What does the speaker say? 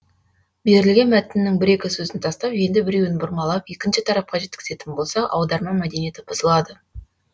берілген мәтіннің бір екі сөзін тастап енді біреуін бұрмалап екінші тарапқа жеткізетін болсақ аударма мәдениеті бұзылады